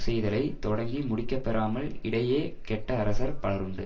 செய்தலை தொடங்கி முடிக்கப் பெறாமல் இடையே கெட்ட அரசர் பலருண்டு